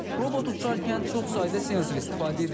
Robot uçarkən çox sayda sensor istifadə edir.